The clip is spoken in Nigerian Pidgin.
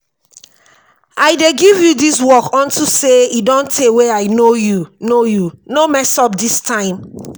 i dey give you dis work unto say e don tey wey i know you no know you no mess up dis time